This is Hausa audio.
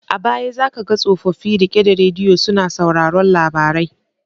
A baya za ka ga tsofofi rike da radiyo suna sauraron labarai.